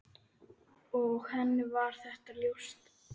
Og henni var þetta ljóst.